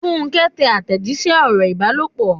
Funke ń tẹ àtẹ̀jíṣẹ́ ọ̀rọ̀ ìbálòpọ̀.